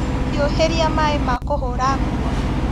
Hiũhĩria maĩ ma kũhũra nguo.